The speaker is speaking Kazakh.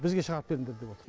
бізге шығарып беріңдер деп отыр